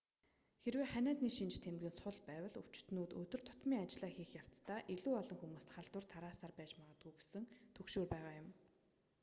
хэрэв ханиадны шинж тэмдэг нь сул байвал өвчтөнүүд өдөр тутмын ажлаа хийх явцдаа илүү олон хүмүүст халдвар тараасаар байж магадгүй гэсэн түгшүүр байгаа юм